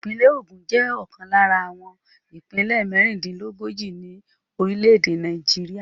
Ìpínlẹ̀ Ogun jẹ́ ọ̀kan lára àwọn ìpínlẹ̀ mẹ́rìndílógójì ní orílẹ̀-èdè Nàìjíríà.